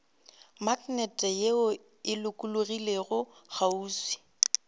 maknete ye e lokologilego kgauswi